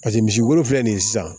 paseke misi wolo filɛ nin ye sisan